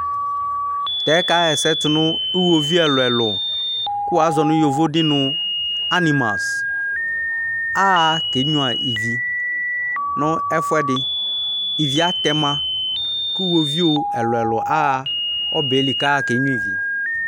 Tɛ kaɣa ɛsɛ tu nu iɣovi ɛlu ɛlu kuwazɔ nu yovo di nu animal ahakenya ivi nu ɛfuɛdi ivi atɛma ku iɣovi ɛlu ɛlu awa ɔbɛli ku akenya ivi